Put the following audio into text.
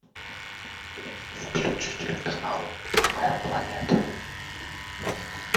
включи телеканал моя планета